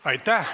Aitäh!